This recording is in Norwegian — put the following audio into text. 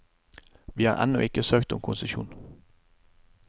Vi har ennå ikke søkt om konsesjon.